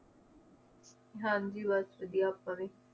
ਹਾਂਜੀ ਬੱਸ ਵਧੀਆ ਆਪਾਂ ਵੀ